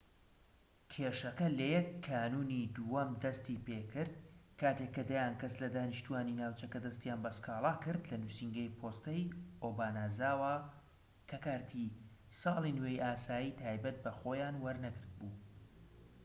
کێشەکە لە 1 کانوونی دووەم دەستی پێکرد کاتێک کە دەیان کەس لە دانیشتوانی ناوچەکە دەستیان بە سکاڵا کردلە نووسینگەی پۆستەی ئۆبانازاوا کە کارتی ساڵی نوێی ئاسایی تایبەت بە خۆیان وەرنەگرت بوو‎